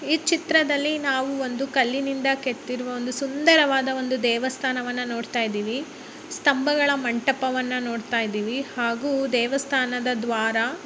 ಈ ಚಿತ್ರದಲ್ಲಿ ನಾವು ಒಂದು ಕಲ್ಲಿನಿಂದ ಕೆತ್ತಿರುವ ಒಂದು ಸುಂದರವಾದ ದೇವಸ್ಥಾನವನ್ನು ನೋಡ್ತಾ ಇದ್ದೀವಿ ಸ್ತಂಭಗಳ ಮಂಟಪವನ್ನು ನೋಡ್ತಾ ಇದ್ದೀವಿ ಹಾಗೂ ದೇವಸ್ಥಾನದ ಹಾಗೂ ದೇವಸ್ಥಾನದ ದ್ವಾರ--